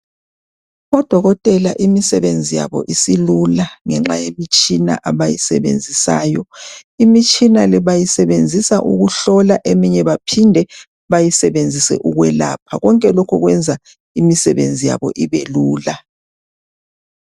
Odokotela imisebenzi yabo isilula ngenxa yemitshina abayisebenzisayo imitshina le bayisebenzisa ukuhlola eminye baphinde bayisebenzise ukwelapha konke lokhu kwenza imisebenzi yabo ibe lula.